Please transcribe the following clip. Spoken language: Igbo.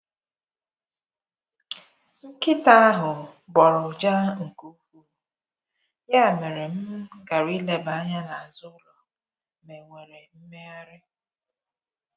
Nkịta ahụ gbọọrọ ụja nke ukwuu, ya mere m gara ileba anya n’azụ ụlọ ma e nwere mmegharị.